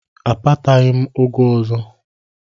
Akpataghị m ụgụ ọzọ.